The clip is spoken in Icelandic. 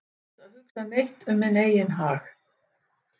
án þess að hugsa neitt um minn eigin hag